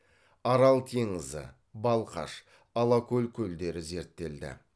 арал теңізі балқаш алакөл көлдері зерттелді